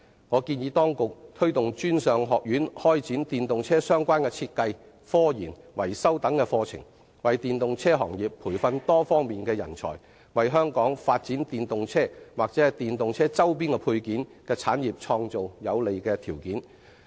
我建議當局推動專上學院開設與電動車相關的設計、科研、維修等課程，為電動車行業培訓多方面人才，為香港發展電動車或電動車周邊配件的產業創造有利的條件。